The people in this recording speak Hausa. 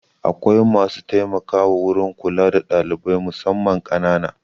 Akwai masu taimakawa wurin kula da ɗalibai musamman ƙanana.